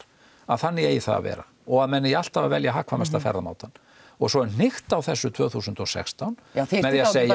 að þannig eigi það að vera og að menn eigi alltaf að velja hagkvæmasta ferðamátann og svo er hnykkt á þessu tvö þúsund og sextán með því að segja